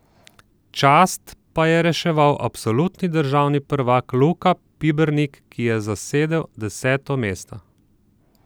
Čast pa je reševal absolutni državni prvak Luka Pibernik, ki je zasedel deseto mesto.